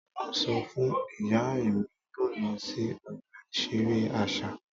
Mo sọ fun iya Emi yoo lọ si ọgba iṣere aṣa.